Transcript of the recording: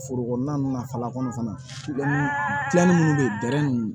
Foro kɔnɔna na falako fana minnu bɛ yen ninnu